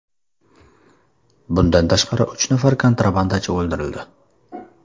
Bundan tashqari, uch nafar kontrabandachi o‘ldirildi.